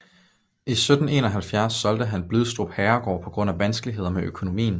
I 1771 solgte han Blidstrup herregård på grund af vanskeligheder med økonomien